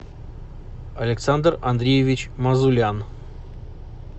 александр андреевич мазулян